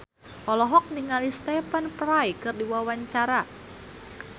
Bunga Citra Lestari olohok ningali Stephen Fry keur diwawancara